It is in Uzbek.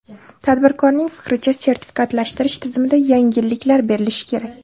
Tadbirkorning fikricha, sertifikatlashtirish tizimida yengilliklar berilishi kerak.